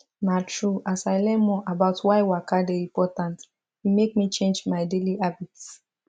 na true as i learn more about why waka dey important e make me change my daily habits